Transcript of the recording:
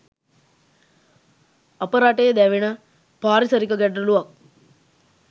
අප රටේ දැවෙන පාරිසරික ගැටලුවක්.